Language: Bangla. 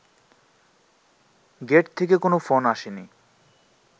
গেট থেকে কোনো ফোন আসেনি